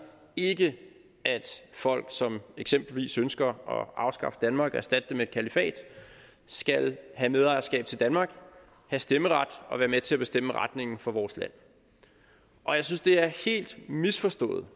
ikke at folk som eksempelvis ønsker at afskaffe danmark og erstatte det med et kalifat skal have medejerskab til danmark have stemmeret og være med til at bestemme retningen for vores land og jeg synes det er helt misforstået